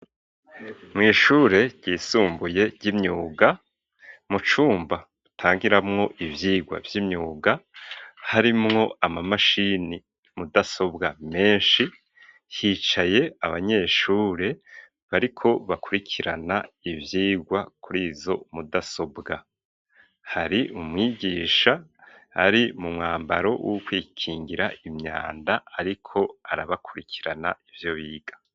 mu ishure ryisumbuye ry'imyuga mu cumba batangiramwo ivyigwa vy'imyuga harimwo ama mashini mudasobwa meshi hicaye abanyeshure bariko bakurikirana ivyigwa kurizo mudasobwa hari umwigisha ari mu mwambaro wo kwikingira imyanda ariko arabakurikirana ivyo biga.